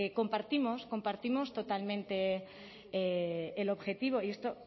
compartimos totalmente el objetivo y esto